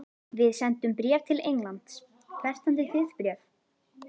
Við sendum bréf til Englands. Hvert sendið þið bréf?